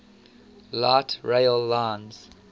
light rail lines